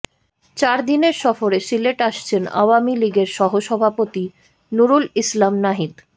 চারদিনের সফরে সিলেট আসছেন আওয়ামী লীগের সহসভাপতি নুরুল ইসলাম নাহিদ